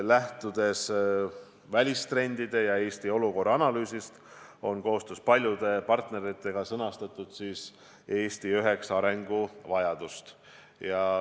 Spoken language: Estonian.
Lähtudes välistrendide ja Eesti olukorra analüüsist, on koostöös paljude partneritega sõnastatud Eesti üheksa arenguvajadust.